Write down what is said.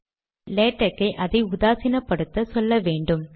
ஆனால் லேடக் ஐ அதை உதாசீனப்படுத்த சொல்ல வேண்டும்